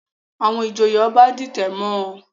Àwọn ìjòyè Ọba ń dìtẹ̀ mọ́ ọn